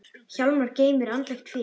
Hjálmar geymir andlegt fé.